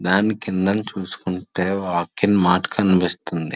దానికి కిందన చూసుకుంటే డి మార్ట్ కనిపిస్తుంది.